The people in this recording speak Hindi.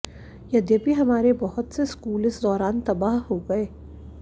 यद्यपि हमारे बहुत से स्कूल इस दौरान तबाह हो गए